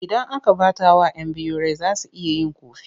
Idan aka ɓatawa 'yan biyu rai za su iya yin ƙofi.